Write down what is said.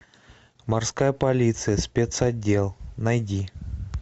морская полиция спецотдел найди